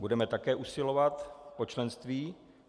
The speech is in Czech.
Budeme také usilovat o členství?